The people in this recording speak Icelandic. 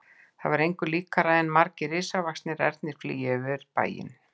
Það var engu líkara en margir risavaxnir ernir flygju yfir bæinn.